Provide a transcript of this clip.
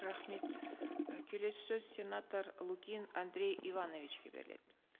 рахмет і келесі сөз сенатор лукин андрей ивановичке беріледі